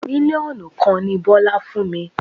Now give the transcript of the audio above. Mílíọ̀nù kan ni Bọ́lá fún mi.